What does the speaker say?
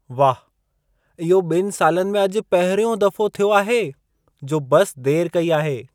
वाह, इहो 2 सालनि में अॼु पहिरियों दफो थियो आहे जो बस देर कई आहे।